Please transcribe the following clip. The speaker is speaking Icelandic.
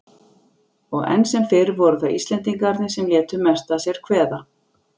Og enn sem fyrr voru það Íslendingarnir sem létu mest að sér kveða.